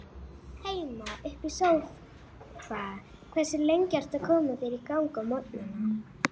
Heima upp í sófa Hversu lengi ertu að koma þér í gang á morgnanna?